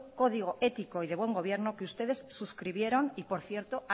código ético y de buen gobierno que ustedes suscribieron y que por cierto